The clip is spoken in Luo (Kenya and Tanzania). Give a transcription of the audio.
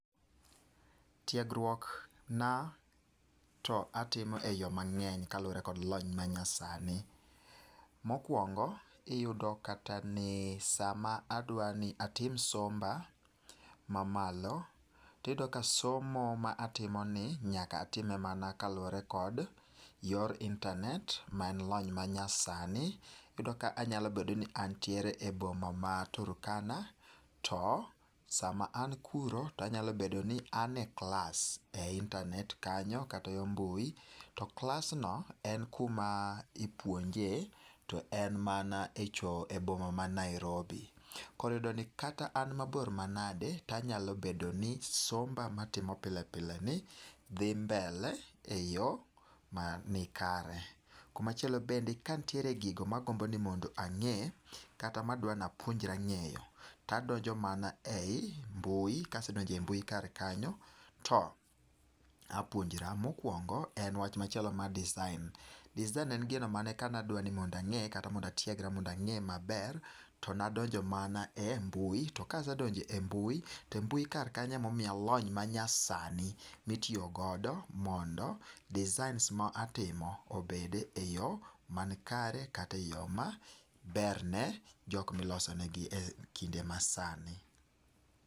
Tiegruok na to atimo e yo mang'eny kaluwore kod lony manyasani. Mokwongo, iyudo kata ni sama adwani atim somba mamalo, tiyudo ka somo ma atimoni nyaka atim mana kaluwore kod yor internet, maen lony manyasani. Iyudo ka anyalobedoni antiere e boma ma Turkana. To sama an kuro tanyalobedoni an e klas e internet kanyo kata yo mbui. To klasno en kuma ipuonje to en mana echo e boma ma Nairobi. Koriyudo ni kata an mabor manade tanyalo bedo ni somba matimo pile pile ni dhi mbele eyo ma ni kare. Kumachielo bende kantiere gigo magombo ni mondo ang'e kata madwanapuonjre ng'eyo. Tadonjo mana ei mbui, kasedonjo ei mbui kar kanyo to apuonjra. Mokwongo en wach machielo mar design. Design ne en gino mane kanadwa ni mondang'e kata mondatiegra mondang'e maber to nadonjo mana e mbui. To kasedonjo e mbui to mbui kar kanyo emomiya lony ma nyasani, mitiyogodo mondo designs ma atimo obede e yo man kare kateyo maberne jok milosonegi e kinde masani.